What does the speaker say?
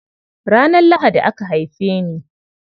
Ranar Lahadi aka haife ni.